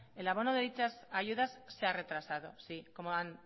el abono de dichas ayudas se ha retrasado sí como han